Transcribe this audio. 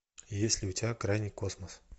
есть ли у тебя крайний космос